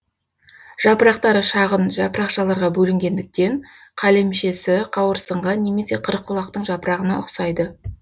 жапырақтары шағын жапырақшаларға бөлінгендіктен қалемшесі қауырсынға немесе қырыққұлақтың жапырағына ұқсайды